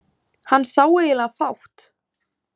Hann sá eiginlega fátt.